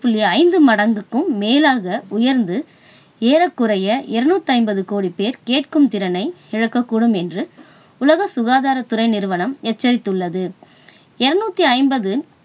புள்ளி ஐந்து மடங்குக்கும் மேலாக உயர்ந்து ஏறக்குறைய இருநூத்தி ஐம்பது கோடி பேர் கேட்கும் திறனை இழக்கக்கூடும் என்று உலக சுகாதாரத் துறை நிறுவனம் எச்சரித்துள்ளது. இருநூத்தி ஐம்பது